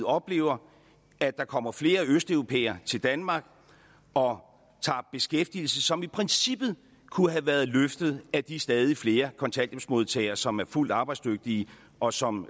oplever at der kommer flere østeuropæere til danmark og tager beskæftigelse som i princippet kunne have været løftet af de stadig flere kontanthjælpsmodtagere som er fuldt arbejdsdygtige og som